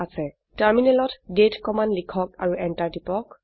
টাৰ্মিনালত দাঁতে কমান্ড লিখক আৰু এন্টাৰ টিপক